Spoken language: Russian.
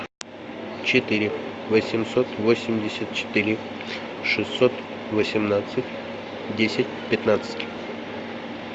четыре восемьсот восемьдесят четыре шестьсот восемнадцать десять пятнадцать